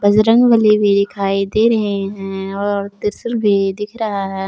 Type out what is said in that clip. बजरंगबली भी दिखाई दे रहे हैं और त्रिशूल दिख रहा है।